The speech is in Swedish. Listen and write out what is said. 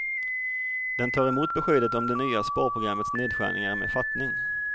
Den tar emot beskedet om det nya sparprogrammets nedskärningar med fattning.